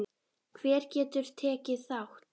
Hver getur tekið þátt?